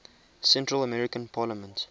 central american parliament